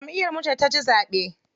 Jamʼiyar mu ce taci zaɓe.